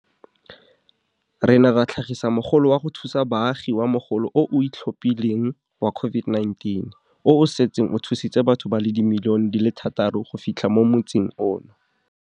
Re ne ra tlhagisa Mogolo wa go Thusa Baagi wa Mogolo o o Itlhophileng wa COVID-19, o o setseng o thusitse batho ba le dimilione di le thataro go fitlha mo motsing ono.